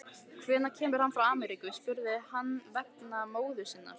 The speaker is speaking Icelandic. Hvenær kemur hann frá Ameríku, spurði hann vegna móður sinnar.